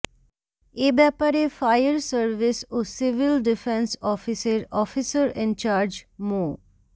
এ ব্যাপারে fire service ও civil defence অফিসের অফিসার ইনচার্জ মো